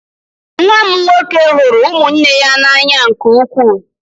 Nwa m nwoke hụrụ ụmụnne ya n'anya nke ukwuu.